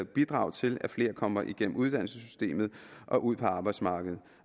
bidrage til at flere kommer gennem uddannelsessystemet og ud på arbejdsmarkedet